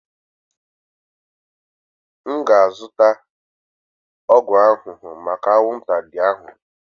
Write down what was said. M ga-azụta ọgwụ ahụhụ maka anwụnta ndị ahụ.